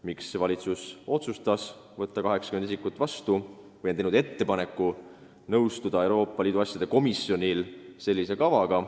Miks valitsus otsustas võtta vastu 80 isikut või õigemini on teinud Euroopa Liidu asjade komisjonile ettepaneku nõustuda sellise kavaga?